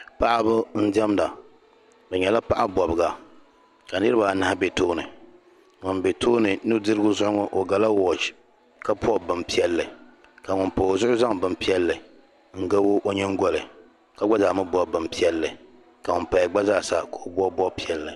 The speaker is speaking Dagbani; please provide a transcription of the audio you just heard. paɣiba n-diɛmda bɛ nyɛla paɣ' bɔbiga ka niriba anahi be tooni ŋun be tooni nudirigu zuɣu ŋɔ o gala wɔchi ka bɔbi bimpiɛlli ka ŋun pa o zuɣu zaŋ bimpiɛlli n-gabi o nyingoli ka gba zaa mi bɔbi bimpiɛlli ka ŋun paya gba zaasa ka o bɔbi bɔb' piɛlli